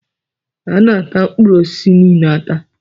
Ana ata mkpụrụ osisi niile ata